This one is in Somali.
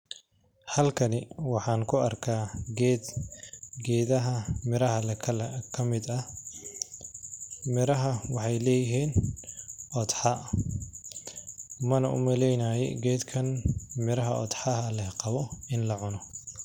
Halkani waxaan kuarkah ged gedaha miraha leh kalarka kamid ah, miraha waxay leyihin qodxa, mana umaleynayi gedkan miraha qodxaha leh qawo ini lacuno